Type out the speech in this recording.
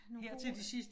Nogle gode